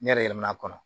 Ne yɛrɛ yɛlɛmana